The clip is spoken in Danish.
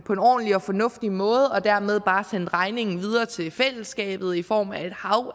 på en ordentlig og fornuftig måde og dermed bare har sendt regningen videre til fællesskabet i form af et hav